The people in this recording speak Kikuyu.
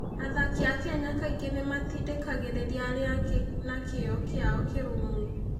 Athaki a Kenya kaingĩ nĩ matindĩkagĩrĩria arĩa angĩ na kĩyo kĩao kĩrũmu.